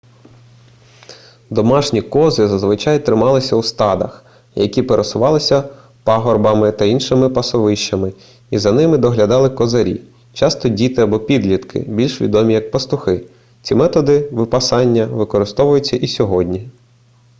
домашні кози зазвичай трималися у стадах які пересувалися пагорбами та іншими пасовищами і за ними доглядали козарі часто діти або підлітки більш відомі як пастухи ці методи випасання використовуються і сьогодні